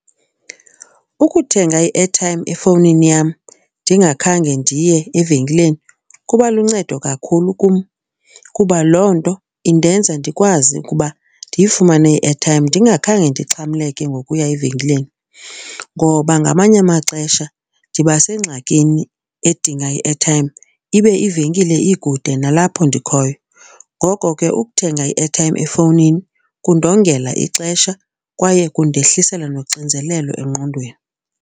Ukuthenga i-airtime efowunini yam ndingakhange ndiye evenkileni kubaluncedo kakhulu kum kuba loo nto indenza ndikwazi ukuba ndiyifumane i-airtime ndingakhange ndixhamleke ngokuya evenkileni. Ngoba ngamanye amaxesha ndiba sengxakini edinga i-airtime, ibe ivenkile ikude nalapho ndikhoyo. Ngoko ke ukuthenga i-airtime efowunini kundongela ixesha kwaye kundehlisela noxinzelelo engqondweni.